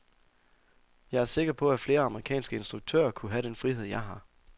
Jeg er sikker på, at flere amerikanske instruktører kunne have den frihed, jeg har.